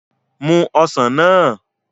Mu ọsàn náà